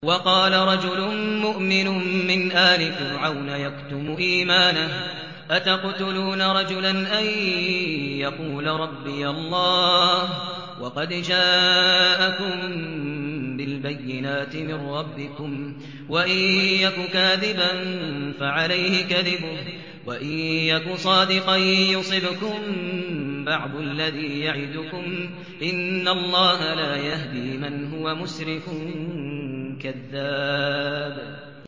وَقَالَ رَجُلٌ مُّؤْمِنٌ مِّنْ آلِ فِرْعَوْنَ يَكْتُمُ إِيمَانَهُ أَتَقْتُلُونَ رَجُلًا أَن يَقُولَ رَبِّيَ اللَّهُ وَقَدْ جَاءَكُم بِالْبَيِّنَاتِ مِن رَّبِّكُمْ ۖ وَإِن يَكُ كَاذِبًا فَعَلَيْهِ كَذِبُهُ ۖ وَإِن يَكُ صَادِقًا يُصِبْكُم بَعْضُ الَّذِي يَعِدُكُمْ ۖ إِنَّ اللَّهَ لَا يَهْدِي مَنْ هُوَ مُسْرِفٌ كَذَّابٌ